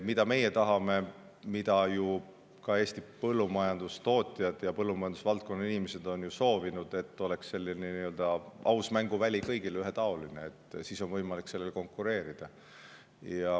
Mida meie tahame ning mida ka ju Eesti põllumajandustootjad ja põllumajandusvaldkonna inimesed on soovinud, on see, et oleks aus mänguväli, mis oleks kõigi jaoks ühetaoline, ja siis on võimalik sellele konkureerida.